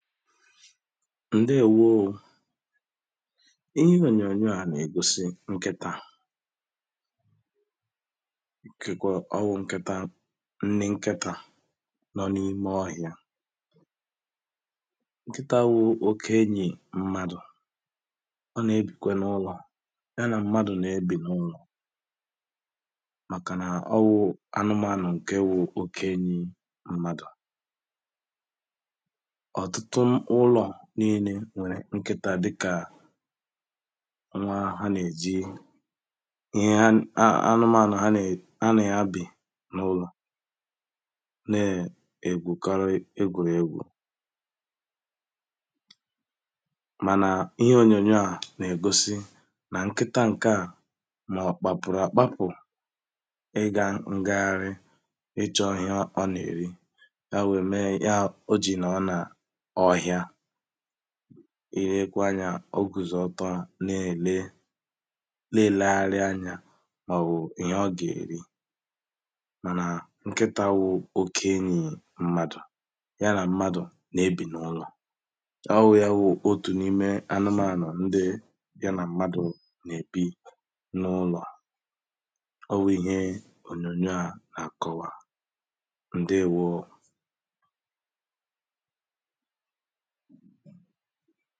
ǹdeewōō ihe ònyònyò a nà-ègosi nkịtā kèkwà ọ wụ̀ nkịtā nni nkịtā nọ n’ime ọhịā nkịtā wụ̀ oke enyì mmadụ̀ ọ nà-ebìkwa n’ụlọ̀ ya nà mmadụ̀ ná-ebì n’ụlọ̀ màkà nà ọ wụ̀ anụmānụ̀ ǹke wụ̀ oke enyī mmadụ̀ ọ̀tụtụ ụlọ̀ niinē nwèrè nkịtā dị kà nwa ha nà-èji íɦé á ánʊ́mānʊ̀ ɦá nè ha nà ya bị̀ n’ụlọ̀ ne egwu karị egwùregwù mànà ihe ònyònyò a nà-ègosi nà nkịtā ǹkè a nọ kpakpụrụ àkpakpụ̀ ị gā ngagharị ịchọ̄ ihe ọ nà-èri ya wè me ihe a ojì nọ nà ọhịa ilekwa anyā ọ kwụ̀zị̀ọtọ à na-èle na-elē gharị anyā mà ọ̀wụ̀ ihe ọ gà-èri mànà nkịtā wụ̀ oke enyì mmadụ̀ ya nà mmadụ̀ na-ebì n’ụlọ̀ ọ wū ya wù otù n’ime anụmānụ̀ ndi ya nà mmadụ̀ nà-èbi n’ụlọ̀ à ọ wụ̀ ihe ònyònyò a nà-àkọwa ǹdeewōō